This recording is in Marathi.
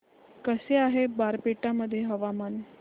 कसे आहे बारपेटा मध्ये हवामान